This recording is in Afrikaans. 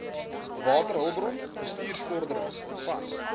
waterhulpbron bestuursvorderings vas